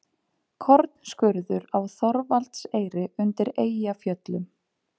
Kornskurður á Þorvaldseyri undir Eyjafjöllum.